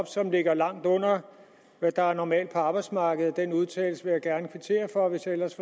som ligger langt under det der er normalt på arbejdsmarkedet den udtalelse vil jeg gerne kvittere for hvis ellers